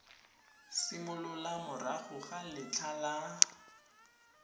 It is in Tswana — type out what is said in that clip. simolola morago ga letlha la